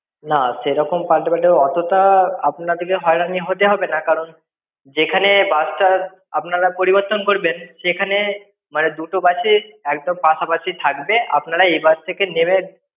সেরকম পালটে পালটে অতটা আপনাদেরকে হয়রানি হতে হবে না, কারণ যেখানে bus টা আপনারা পরিবর্তন করবেন। সেখানে মানে দুটো bus ই একদম পাশাপাশি থাকবে। আপনারা এ বাস থেকে নেবে